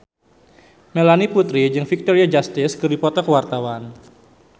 Melanie Putri jeung Victoria Justice keur dipoto ku wartawan